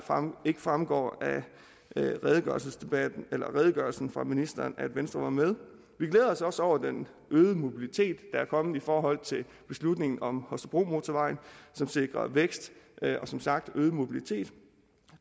ikke fremgår af redegørelsen redegørelsen fra ministeren at venstre var med vi glæder os også over den øgede mobilitet der er kommet i forhold til beslutningen om holstebromotorvejen som sikrer vækst og som sagt øget mobilitet